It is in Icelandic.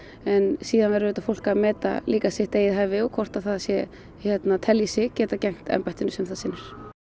en síðan verður fólk að meta sitt eigið hæfi og hvort það telji sig geta gegnt embættinu sem það sinnir